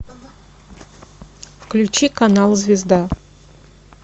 включи канал звезда